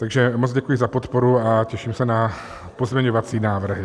Takže moc děkuji za podporu a těším se na pozměňovací návrhy.